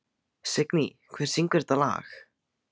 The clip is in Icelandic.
Signý, hver syngur þetta lag?